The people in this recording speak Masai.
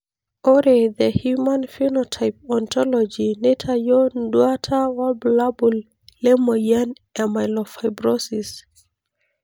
Ore the human phenotype ontology neitayio nduata wobulabul le moyian e Myelofibrosis.